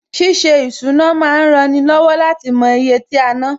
Ṣíṣe ìsúná ma ń rani lọ́wọ́ láti mo iye tí a ná